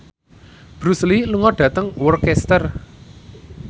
Bruce Lee lunga dhateng Worcester